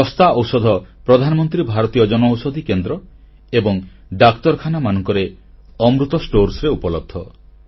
ଶସ୍ତା ଔଷଧ ପ୍ରଧାନମନ୍ତ୍ରୀ ଭାରତୀୟ ଜନଔଷଧି କେନ୍ଦ୍ର ଏବଂ ଡାକ୍ତରଖାନାମାନଙ୍କରେ ଅମୃତ ଷ୍ଟୋରରେ ଉପଲବ୍ଧ